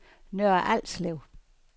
Nørre Alslev